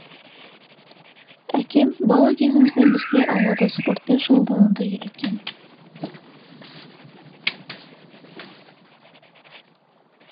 әкем бала кезімізден бізге аулада спортпен шұғылдануды үйреткен